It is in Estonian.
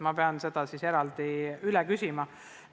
Ma peaksin seda eraldi üle küsima.